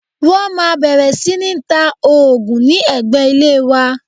Wọ́n máa bẹ̀rẹ̀ sí ní ta òògùn ní ẹ̀gbẹ́ ilé wa